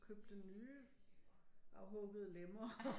Købte nye afhuggede lemmer